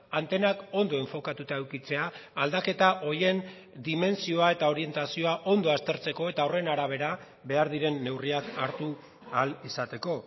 antenak ondo enfokatuta edukitzea aldaketa horien dimentsioa eta orientazioa ondo aztertzeko eta horren arabera behar diren neurriak hartu ahal izateko